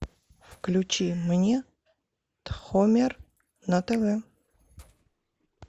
включи мне тхомер на тв